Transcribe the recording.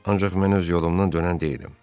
Ancaq mən öz yolumdan dönən deyiləm.